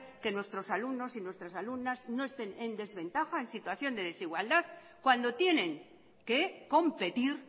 que nuestros alumnos y nuestras alumnas no estén en desventaja en situación de desigualdad cuando tienen que competir